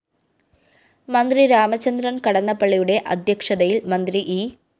മന്ത്രി രാമചന്ദ്രന്‍ കടന്നപ്പളളിയുടെ അധ്യക്ഷതയില്‍ മന്ത്രി ഇ